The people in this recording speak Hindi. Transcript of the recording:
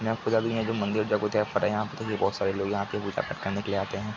यहाँ पुजारी है जो मंदिर यहाँ पे तो ये बहुत सारे लोग यहाँ पे पूजा करने के लिए आते हैं।